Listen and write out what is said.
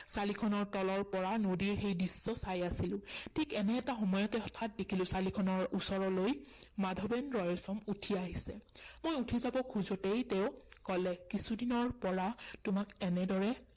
চালিখনৰ তলৰ পৰা নদীৰ সেই দিশটো চাই আছিলো। ঠিক এনে এটা সময়তে হঠাৎ দেখিলো চালিখনৰ ওচৰলৈ মাধৱেন ৰয়ছম উঠিআহিছে। মই উঠি যাৱ খোজোতেই তেওঁ কলে, কিছুদিনৰ পৰা তোমাক এনেদৰে